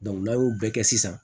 n'a y'o bɛɛ kɛ sisan